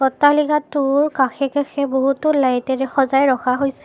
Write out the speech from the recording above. অট্টালিকাটোৰ কাষে-কাষে বহুতো লাইটেৰে সজাই ৰখা হৈছে।